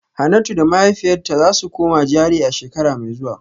Hanatu da mahaifiyarta za su koma GRA a shekara mai zuwa